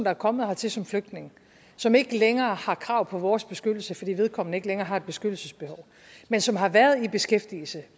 er kommet hertil som flygtning som ikke længere har krav på vores beskyttelse fordi vedkommende ikke længere har et beskyttelsesbehov men som har været i beskæftigelse